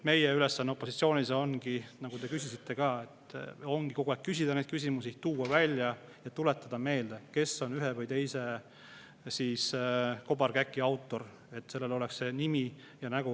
Meie ülesanne opositsioonis ongi, nagu te küsisite, kogu aeg küsida neid küsimusi, tuua neid välja ja tuletada meelde, kes on ühe või teise kobarkäki autor, et nendel oleks nimi ja nägu.